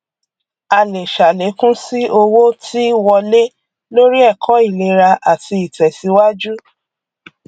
a lè ṣàlékún sí owó tí wọlé lóri ẹkọ ìlera àti ìtẹsíwájú